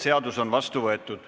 Seadus on vastu võetud.